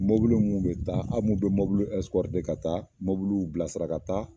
Mɔbuluw mu be taa a mu be mɔbuluw ɛsikɔrite ka taa mɔbuluw bila sira ka taa